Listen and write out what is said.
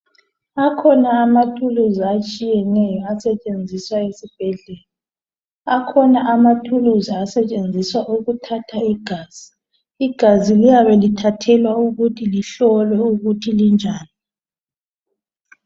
Akhona amathuluzi atshiyeneyo asetshenziswa esibhedlela, akhona amathuluzi asetshenziswa ukuthatha igazi. Igazi liyabe lithathelwa ukuthi lihlolwe ukuthi linjani.